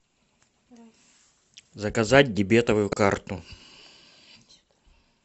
заказать дебетовую карту